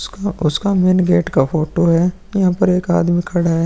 उसका उसका main gate का फोटो है यहाँ पर एक आदमी खड़ा है ।